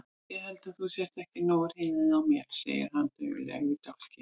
Ég held að þú sért ekki nógu hrifin af mér, segir hann daufur í dálkinn.